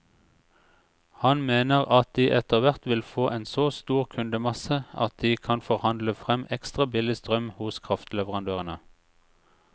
Han mener at de etterhvert vil få en så stor kundemasse at de kan forhandle frem ekstra billig strøm hos kraftleverandørene.